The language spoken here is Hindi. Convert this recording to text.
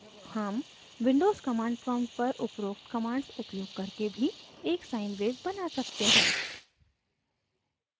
हम windows commands prompt पर उपरोक्त commands उपयोग करके भी एक sine wave बना सकते हैं